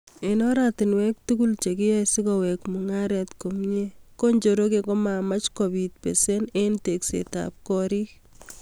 Eng oratunwek tugul che kiyoei sikowek mungaret komye, ko njoroge kakomach kobit besen eng tekset ab korik.